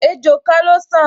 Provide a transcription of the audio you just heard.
Ejò kan ló san